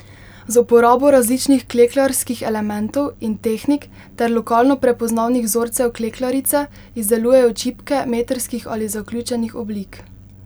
Z uporabo različnih klekljarskih elementov in tehnik ter lokalno prepoznavnih vzorcev klekljarice izdelujejo čipke metrskih ali zaključenih oblik.